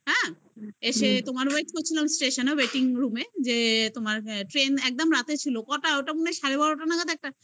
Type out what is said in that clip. এসে তোমার wait করছিলাম station -এ waiting room এ যে তোমার train একদম রাত্রে ছিল কটা ওটা মনে হয় সাড়ে বারোটা নাগাদ একটা